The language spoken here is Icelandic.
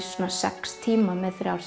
sex tíma með þrjár